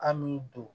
An m'i don